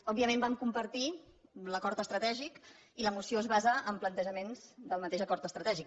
òbviament vam compartir l’acord estratègic i la moció es basa en plantejaments del mateix acord estratègic